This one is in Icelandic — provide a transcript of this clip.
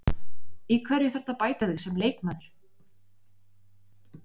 Í hverju þarftu að bæta þig sem leikmaður?